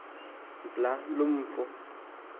mbla loo mfo